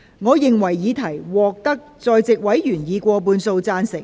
我認為議題獲得在席委員以過半數贊成。